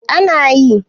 A na yi